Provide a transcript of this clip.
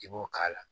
I b'o k'a la